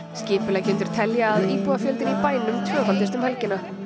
skipuleggjendur telja að íbúafjöldinn í bænum tvöfaldist um helgina